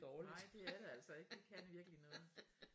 Nej de er det altså ikke de kan virkeligt noget